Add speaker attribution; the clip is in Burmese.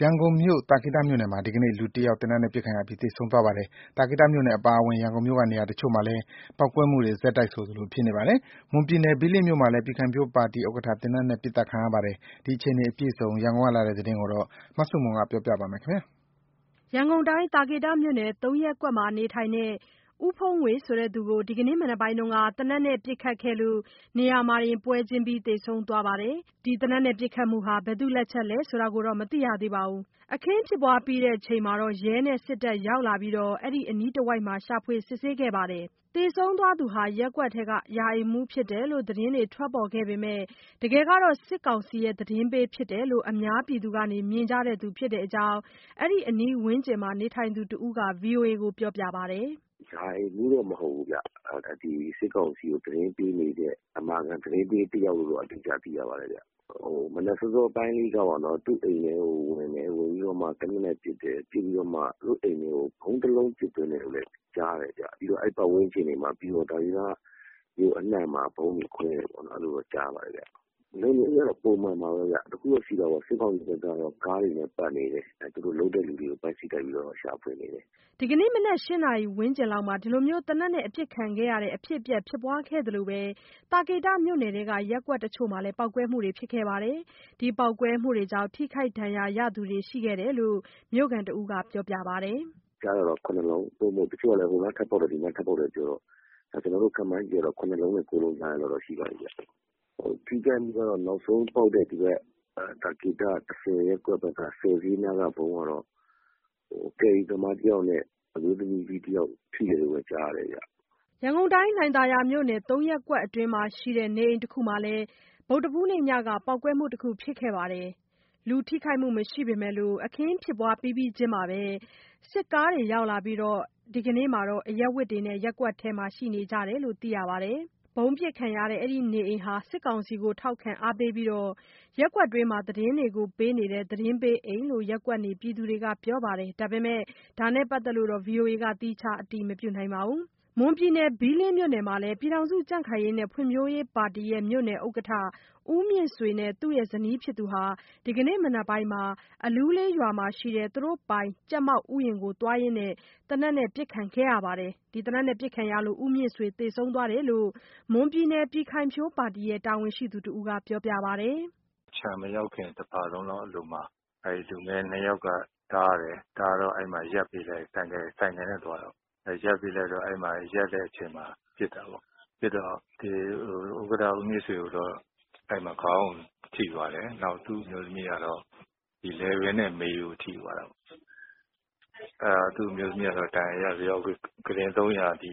Speaker 1: ရန်ကုန်မြို့၊ သာကေတမြို့နယ်မှာ ဒီကနေ့ လူတယောက် သေနတ်နဲ့ပစ်ခံရပြီး သေဆုံးသွားပါတယ်။ သာကေတမြို့နယ်အပါအဝင် ရန်ကုန်မြို့က နေရာတချို့မှာလည်း ပေါက်ကွဲမှုတွေ ဆက်တိုက်ဆိုသလို ဖြစ်နေပါတယ်။ မွန်ပြည်နယ် ဘီးလင်းမြို့နယ်မှာလည်း ပြည်ခိုင်ဖြိုးပါတီဥက္ကဋ္ဌ သေနတ်နဲ့ပစ်သတ်ခံရပါတယ်။ ဒီအခြေအနေအပြည့်အစုံ ရန်ကုန်ကလာတဲ့သတင်းကို မဆုမွန်က ပြောပြပါမယ်။
Speaker 2: ရန်ကုန်၊ သာကေတမြို့နယ် ၃ ရပ်ကွက်မှာနေထိုင်တဲ့ ဦးဘုန်းငွေဆိုသူကို ဒီကနေ့ မနက်ပိုင်းက သေနတ်နဲ့ပစ်ခတ်ခဲ့လို့ နေရာမှာတင် ပွဲချင်းပြီး သေဆုံးသွားပါတယ်။ သေနတ်နဲ့ပစ်ခတ်မှုဟာ ဘယ်သူ့လက်ချက်လဲဆိုတာတော့ မသိရသေးပါဘူး။ အခင်းဖြစ်ပြီးချိန်မှာ ရဲနဲ့စစ်တပ်ကရောက်လာပြီး အဲဒီအနီးတဝိုက်မှာ ရှာဖွေစစ်ဆေးတာတွေ လုပ်ခဲ့ပါတယ်။ သေဆုံးသွားသူဟာ ရပ်ကွက်ရာအိမ်မမှူးဖြစ်တယ်လို့ သတင်းတွေထွက်ပေါ်ခဲ့ပေမဲ့ တကယ်က စစ်ကောင်စီသတင်းပေးဖြစ်တယ်လို့ အများက မြင်ကြသူဖြစ်တဲ့အကြောင်း အဲဒီအနီးဝန်းကျင်မှာ နေထိုင်သူတဦးက VOA ကိုပြောပါတယ်။
Speaker 3: “ရာအိမ်မှူးတော့ မဟုတ်ဘူးဗျ။ ဒီစစ်ကောင်စီကို သတင်းပေးနေတဲ့ အမာခံသတင်းပေးတယောက်လို့တော့ ကြားသိရပါတယ်ဗျ။ မနက်စောစောပိုင်းလောက်က သူ့အိမ်ထဲကိုဝင်ပြီးတော့ သေနတ်နဲ့ပစ်တယ်။ ပစ်ပြီးတော့မှ သူတို့အိမ်ထဲကို ဗုံးတလုံးပစ်သွင်းတယ်လို့လည်း ကြားတယ်ဗျ။ ပြီးတော့ အဲဒီပတ်ဝန်းကျင်၊ သာကေတမြို့အနှံ့မှာ ဗုံးတွေခွဲတယ်လို့တော့ ကြားပါတယ်ဗျ။ လုံခြုံရေးကတော့ ပုံမှန်ပါပဲ။ တခုတော့ရှိတာပေါ့၊ စစ်ကောင်စီဘက်ကတော့ ကားတွေနဲ့ပတ်နေတယ်။ သူတို့လုပ်တဲ့သူတွေကို ပိုက်စိပ်တိုက်ပြီးတော့ ရှာဖွေနေတယ်။”
Speaker 2: မနက် ၈ နာရီခွဲဝန်းကျင်မှာ ဒီလိုသေနတ်နဲ့ အပစ်ခံရတဲ့ အဖြစ်အပျက် ဖြစ်ခဲ့သလို သာကေတမြို့နယ်ထဲက ရပ်ကွက်တွေမှာ ပေါက်ကွဲမှုတွေလည်း ရှိခဲ့ပါတယ်။ ပေါက်ကွဲမှုကြောင့် ထိခိုက်ဒဏ်ရာရသူ တချို့လည်းရှိခဲ့တယ်လို့ မြို့ခံတဦးကပြောပါတယ်။
Speaker 3: “ကြားတာတော့ ၇လုံး၊ တချို့ကျတော့လည်း ဟိုနားထပ်ပေါက်တယ်၊ ဒီနားထပ်ပေါက်တယ်ပြောတော့ ကျနော်တို့ခန့်မှန်းကြည့်တာတော့ ၇ လုံးနဲ့ ၉ လုံးကြားတော့ ရှိသွားပြီဗျ။ ထိခိုက်မှုကတော့ နောက်ဆုံးပေါက်တဲ့ သာကေတ ရပ်ကွက်ဘက်က ဈေးနားကဗုံးကတော့ ကယ်ရီသမားတယောက်နဲ့ အမျိုးသမီးတယောက် ထိတယ်လို့တော့ ကြားတယ်ဗျ။
Speaker 2: ” ရန်ကုန်မြို့၊ လှိုင်သာယာမြို့နယ်၊ ၃ ရပ်ကွက်အတွင်းမှာရှိတဲ့ နေအိမ်တခုမှာလည်း ဗုဒ္ဓဟူးနေ့ညက ပေါက်ကွဲမှုတခုဖြစ်ခဲ့ပါတယ်။ လူထိခိုက်မှုမရှိပေမဲ့ အခင်းဖြစ်ပြီးပြီးချင်း စစ်ကားတွေရောက်လာပြီး ဒီကနေ့မှာတော့ အရပ်ဝတ်တွေနဲ့ ရပ်ကွက်ထဲရှိနေတယ်လို့ သိရပါတယ်။ ဗုံးအပစ်ခံရတဲ့ အဲဒီနေအိမ်ဟာ စစ်ကောင်စီကို ထောက်ခံအားပေးပြီး ရပ်ကွက်တွင်းသတင်းတွေကို ပေးနေတဲ့ အိမ်လို့ ရပ်ကွက်နေပြည်သူတွေက ပြောပါတယ်။ ဒါနဲ့ပတ်သက်ပြီး ဗီအိုအေက သီးခြားအတည်မပြုနိုင်ပါဘူး။ မွန်ပြည်နယ်၊ ဘီးလင်းမြို့နယ်မှာလည်း ပြည်ခိုင်ဖြိုးပါတီ မြို့နယ်ဥက္ကဋ္ဌ ဦးမြင့်ဆွေနဲ့ သူ့အမျိုးသမီးတို့ဟာ ဒီကနေ့မနက်ပိုင်းက အလူးလေးရွာမှာရှိတဲ့ သူတို့ပိုင် ကြက်မောက်ဥယျာဉ်ကိုသွားရင်း သေနတ်နဲ့ ပစ်ခံရလို့ ဦးမြင့်ဆွေသေဆုံးသွားတယ်လို့ မွန်ပြည်နယ်ပြည်ခိုင်ဖြိုးပါတီ တာဝန်ရှိသူတဦးက ပြောပါတယ်။
Speaker 1: “ခြံမရောက်ခင် တဖာလုံလောက်အလိုမှာ အဲ့လူငယ်နှစ်ယောက်က တားတယ်။ တားတော့ အဲ့မှာရပ်ပေးလိုက်တာ၊ ဆိုင်ကယ်နဲ့သွားတာပေါ့။ ရပ်ပေးလိုက်တော့ အဲ့မှာ ရပ်တဲ့အချိန်မှာ ပစ်တာပေ့ါ။ ပစ်တော့ ဥက္ကဋ္ဌ ဦးမြင့်ဆွေကိုတော့ အဲ့မှာခေါင်းကိုထိသွားတယ်၊ နောက်သူ့အမျိုးသမီးကတော့ လည်ပင်းနဲ့ မေရိုးကျိုးသွားတာပေ့ါ။ သူ့အမျိုးသမီးကတော့ ဒဏ်ရာရပြီးတော့ ကုတင် ၃၀